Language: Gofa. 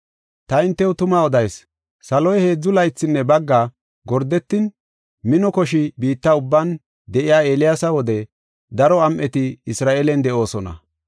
“Ta hintew tuma odayis; saloy heedzu laythinne bagga gordetin mino koshi biitta ubban de7iya Eeliyaasa wode daro am7eti Isra7eelen de7oosona.